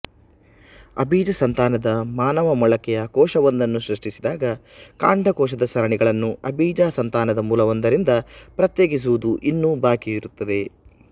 ಅಬೀಜ ಸಂತಾನದ ಮಾನವ ಮೊಳಕೆಯ ಕೋಶವೊಂದನ್ನು ಸೃಷ್ಟಿಸಿದಾಗ ಕಾಂಡಕೋಶದ ಸರಣಿಗಳನ್ನು ಅಬೀಜ ಸಂತಾನದ ಮೂಲವೊಂದರಿಂದ ಪ್ರತ್ಯೇಕಿಸುವುದು ಇನ್ನೂ ಬಾಕಿಯಿರುತ್ತದೆ